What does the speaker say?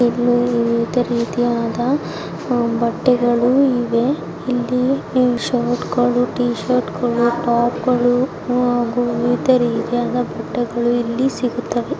ಇಲ್ಲಿ ಒಂದೇ ರೀತಿಯಾದ ಬಟ್ಟೆಗಳಿವೆ ಇಲ್ಲಿ ಶರ್ಟ್ ಗಳು ಟೀ ಶರ್ಟ್ ಗಳು ಟಾಪ್ ಗಳು ವಿಧ ರೀತಿಯ ಬಟ್ಟೆಗಳು ಇಲ್ಲಿ ಸಿಗುತ್ತವೆ .